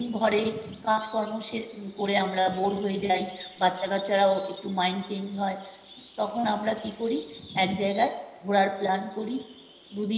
সারাদিন ঘরে কাজকর্ম শেষ করে আমরা bore হয়ে যাই। বাচ্চারা কাচ্চারাও একটু mind change হয়। তখন আমরা কী করি এক জায়গায় ঘোরার plan করি